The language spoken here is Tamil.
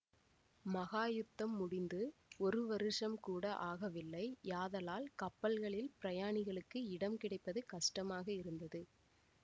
மகாயுத்தம் முடிந்து ஒரு வருஷம்கூட ஆகவில்லை யாதலால் கப்பல்களில் பிரயாணிகளுக்கு இடம் கிடைப்பது கஷ்டமாக இருந்தது